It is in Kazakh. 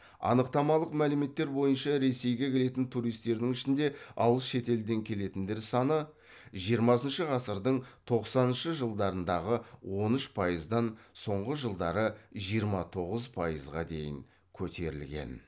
анықтамалық мәліметтер бойынша ресейге келетін туристердің ішінде алыс шетелден келетіндер саны жиырмасыншы ғасырдың тоқсаныншы жылдарындағы он үш пайыздан соңғы жылдары жиырма тоғыз пайызға дейін көтерілген